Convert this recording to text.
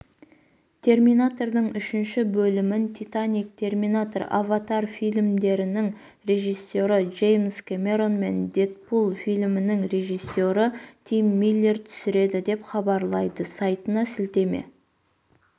терминатордың үшінші бөлімін титаник терминатор аватар фильмдерінің режиссері джеймс кэмерон мен дэдпул фильмінің режисері тим миллер түсіреді деп хабарлайды сайтына сілтеме